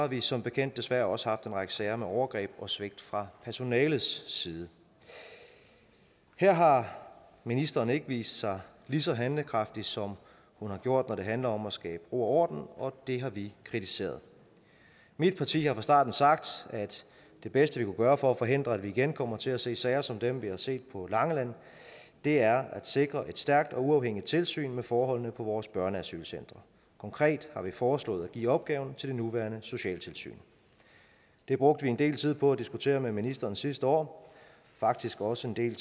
vi som bekendt desværre også haft en række sager med overgreb og svigt fra personalets side her har ministeren ikke vist sig lige så handlekraftig som hun har gjort når det handler om at skabe ro og orden og det har vi kritiseret mit parti har fra starten sagt at det bedste vi kunne gøre for at forhindre at vi igen kommer til at se sager som dem vi har set på langeland er at sikre et stærkt og uafhængigt tilsyn med forholdene på vores børneasylcentre konkret har vi foreslået at give opgaven til det nuværende socialtilsyn det brugte vi en del tid på at diskutere med ministeren sidste år faktisk også en del